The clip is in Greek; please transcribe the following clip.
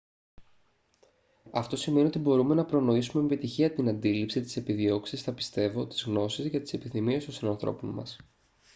αυτό σημαίνει ότι μπορούμε να προνοήσουμε με επιτυχία την αντίληψη τις επιδιώξεις τα πιστεύω τις γνώσει και τις επιθυμίες των συνανθρώπων μας